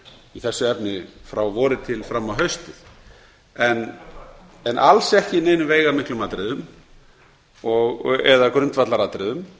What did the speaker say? í þessu efni frá vori og fram á haustið en alls ekki í neinum veigamiklum atriðum eða grundvallaratriðum